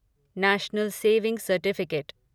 national saving certificate